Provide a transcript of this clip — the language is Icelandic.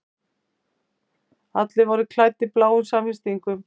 Allir voru klæddir bláum samfestingum.